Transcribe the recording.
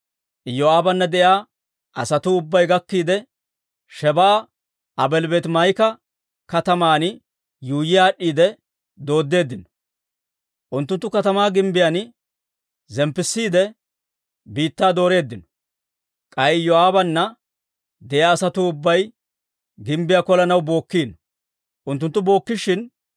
Iyoo'aabana de'iyaa asatuu ubbay gakkiide, Shebaa'a Aabeeli-Beetimaa'ika kataman yuuyyi aad'd'iide dooddeeddino. Unttunttu katamaa gimbbiyaan zemppissiide biittaa dooreeddino. K'ay Iyoo'aabana de'iyaa asatuu ubbay gimbbiyaa kolanaw bookkino. Unttunttu bookkishin,